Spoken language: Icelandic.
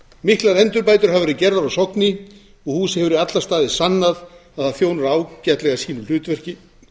miklar endurbætur hafa verið gerðar á sogni og húsið hefur í alla staði sannað að það þjónar ágætlega sínu hlutverki